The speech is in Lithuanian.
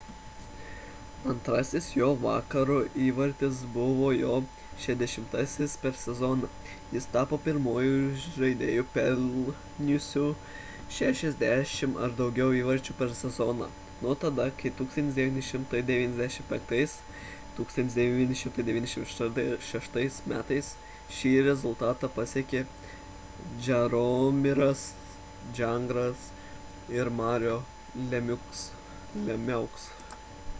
antrasis jo to vakaro įvartis buvo jo 60-asis per sezoną jis tapo pirmuoju žaidėju pelniusiu 60 ar daugiau įvarčių per sezoną nuo tada kai 1995–1996 m šį rezultatą pasiekė jaromiras jagras ir mario lemieux